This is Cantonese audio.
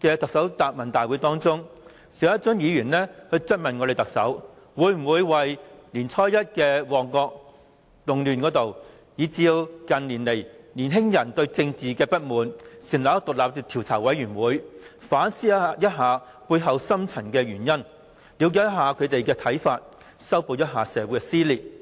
的特首答問會中，邵家臻議員曾質問特首會否為年初一的旺角動亂，以及近年年青人對政治的不滿成立獨立調查委員會，以期反思背後的深層原因，了解他們的看法，以及修補社會撕裂。